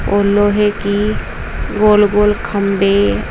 और लोहे की गोल गोल खंभे--